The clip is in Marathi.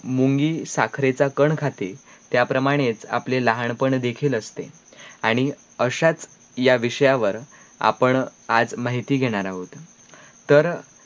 मुंगी साखरेचा कण खाते, त्याप्रमाणेच आपले लहानपण देखिल असते, आणी अशाच या विषयावर आपण आज माह्यती घेराण आहोत तर